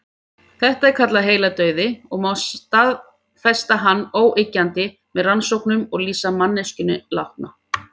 Þetta er kallað heiladauði og má staðfesta hann óyggjandi með rannsóknum og lýsa manneskjuna látna.